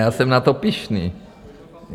Já jsem na to pyšný.